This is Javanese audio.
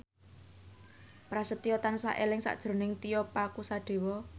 Prasetyo tansah eling sakjroning Tio Pakusadewo